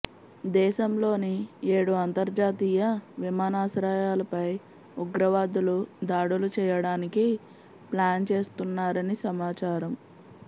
దేశంలోని ఏడు అంతర్జాతీయ విమానాశ్రయలపై ఉగ్రవాదులు దాడులు చేయడానికి ప్లాన్ చేస్తున్నారని సమాచారం